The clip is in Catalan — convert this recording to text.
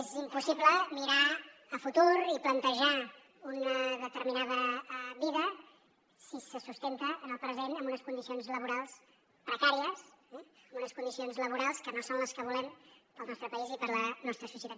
és impossible mirar a futur i plantejar una determinada vida si se sustenta en el present en unes condicions laborals precàries en unes condicions laborals que no són les que volem per al nostre país i per la nostra societat